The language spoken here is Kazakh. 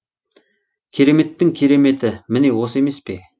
кереметтің кереметі міне осы емес пе